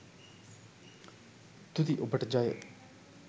තුති ඔබට ජය